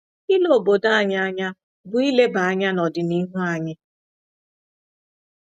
“Ile obodo anyị anya bụ ileba anya n’ọdịnihu anyị."